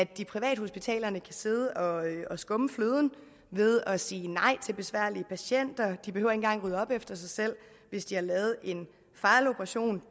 gik privathospitalerne kan sidde og skumme fløden ved at sige nej til besværlige patienter de behøver ikke engang rydde op efter sig selv hvis de har lavet en fejloperation